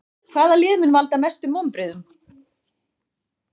Hvaða lið mun valda mestum vonbrigðum?